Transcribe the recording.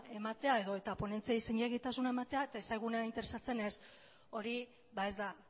ematea edo eta ponentziei zilegitasuna ematea eta ez zaigunean interesatzen ez hori ez da